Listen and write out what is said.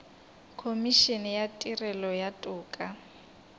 khomišene ya tirelo ya toka